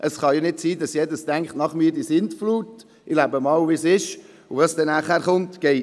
Es kann nicht sein, dass jeder denkt, «nach mir die Sintflut, ich lebe mal so weiter, und was später kommt, ist egal».